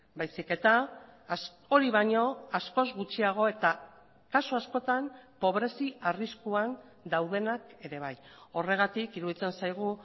baizik eta hori baino askoz gutxiago eta kasu askotan pobrezi arriskuan daudenak ere bai horregatik iruditzen zaigu